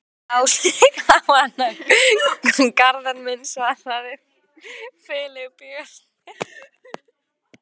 Hún Áslaug á hana, Garðar minn, svaraði Filippía stillilega.